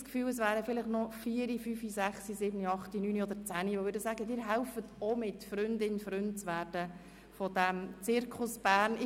Haben Sie nicht das Gefühl, dass noch vier, fünf, sechs, sieben, acht, neun oder zehn Personen des Grossen Rats gefunden werden könnten, die Freund oder Freundin der Zirkusschule Bern werden wollen?